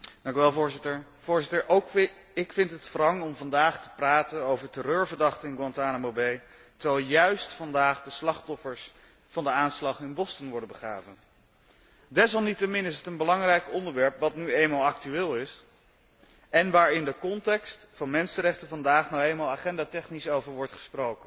Voorzitter, ook ik vind het wrang om vandaag te praten over terreurverdachten in Guantánamo Bay, terwijl juist vandaag de slachtoffers van de aanslag in Boston worden begraven. Desalniettemin is het een belangrijk onderwerp dat nu eenmaal actueel is en waarover in de context van de mensenrechten vandaag nu eenmaal agendatechnisch wordt gesproken.